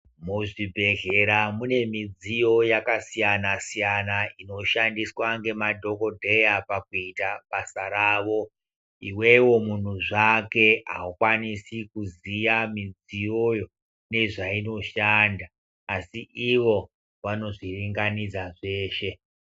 Muzvibhedhlera mune midziyo yakasiyana-siyana inoshandiswa ngemadhogodheya pakuita basa ravo. Ivevo muntu zvake haukwanisi kuziya midziyoyo nezvainoshanda, asi ivo vanozviringanidza zveshe.